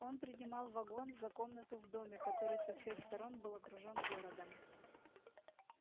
он принимал вагон за комнату в доме который со всех сторон был окружен городом